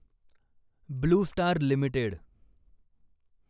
blue Star limited